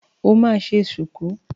O máa ṣe ṣùkú.